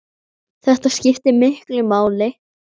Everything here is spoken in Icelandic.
Þetta skiptir miklu máli.